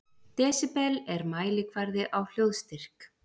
Desibel er mælikvarði á hljóðstyrk.